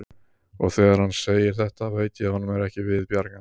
Og þegar hann segir þetta veit ég að honum er ekki við bjargandi.